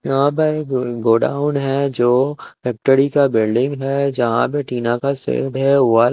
यहाँ पे एक गोडाउन है जो फैक्ट्री का बिल्डिंग है जहां पे टीना का सेड है वल --